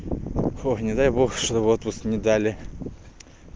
не дай бог чтобы отпуск не дали